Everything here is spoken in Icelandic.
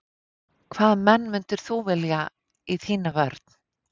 Hvaða menn myndir þú velja í þína vörn?